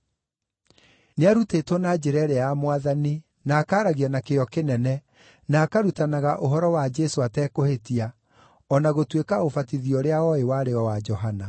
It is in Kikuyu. Nĩarutĩtwo na njĩra ĩrĩa ya Mwathani, na akaaragia na kĩyo kĩnene, na akarutanaga ũhoro wa Jesũ atekũhĩtia, o na gũtuĩka ũbatithio ũrĩa ooĩ warĩ o wa Johana.